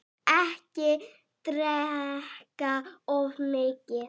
Ekki drekka of mikið.